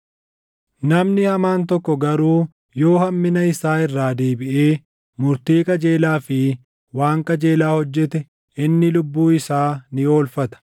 Namni hamaan tokko garuu yoo hammina isaa irraa deebiʼee murtii qajeelaa fi waan qajeelaa hojjete inni lubbuu isaa ni oolfata.